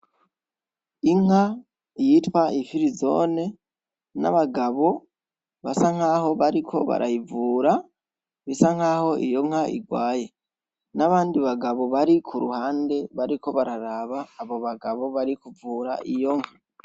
Inka yitwa ifirizone n'abagabo basa nkaho bariko barayivura bisa nkaho iyo nka irwaye n'abandi bagabo bari kuruhande bariko bararaba abo bagabo barikuvura iyo nka .